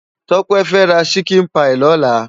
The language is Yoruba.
Tope fè rá ṣikin páyi lòlá